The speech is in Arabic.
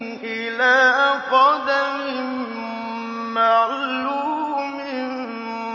إِلَىٰ قَدَرٍ مَّعْلُومٍ